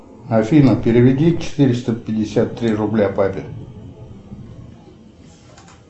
афина переведи четыреста пятьдесят три рубля папе